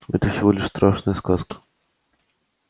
это всего лишь страшная сказка